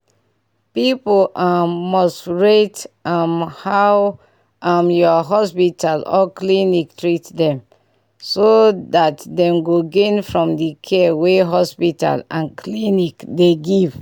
people um must rate um how um your hospital or clinic take treatment them so that dem go gain from the care wey hospital and clinic dey give